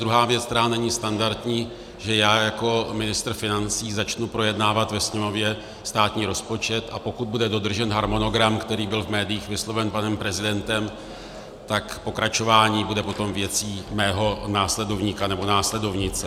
Druhá věc, která není standardní, že já jako ministr financí začnu projednávat ve sněmovně státní rozpočet, a pokud bude dodržen harmonogram, který byl v médiích vysloven panem prezidentem, tak pokračování bude potom věcí mého následovníka nebo následovnice.